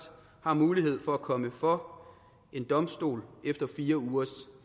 har mulighed for at komme for en domstol efter fire ugers